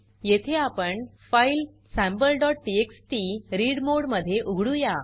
येथे आपण file sample TXT read mode मध्ये उघडुया